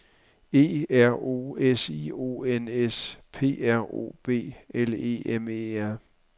E R O S I O N S P R O B L E M E R